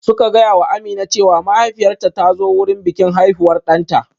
Suka gaya wa Amina cewa mahaifiyarta ta zo wurin bikin haihuwar ɗanta